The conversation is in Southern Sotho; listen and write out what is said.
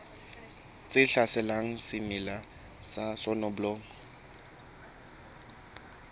tse hlaselang semela sa soneblomo